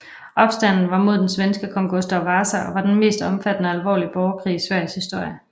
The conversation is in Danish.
Opstanden var mod den svenske kong Gustav Vasa og var den mest omfattende og alvorlige borgerkrig i Sveriges historie